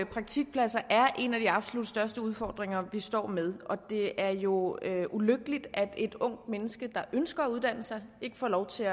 praktikpladser er en af de absolut største udfordringer vi står med og det er jo ulykkeligt at et ungt menneske der ønsker at uddanne sig ikke får lov til